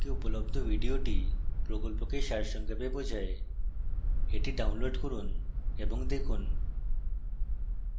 নিম্ন link উপলব্ধ video প্রকল্পকে সারসংক্ষেপে বোঝায়